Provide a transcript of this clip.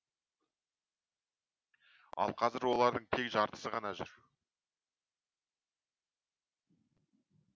ал қазір олардың тек жартысы ғана жүр